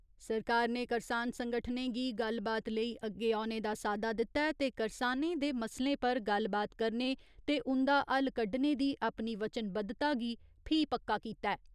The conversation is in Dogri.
सरकार ने करसान संगठनें गी गल्लबात लेई अग्गे औने दा साद्दा दित्ता ऐ ते करसानें दे मसलें पर गल्लबात करने ते उंदा हल कड्डने दी अपनी वचनबद्धता गी फ्ही पक्का कीता ऐ।